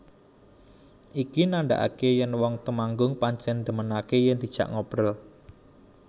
Iki nandhakake yen wong Temanggung pancen ndhemenakake yen diajak ngobrol